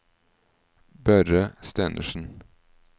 Børre Stenersen